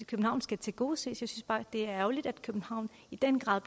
københavn skal tilgodeses jeg synes bare det er ærgerligt at københavn i den grad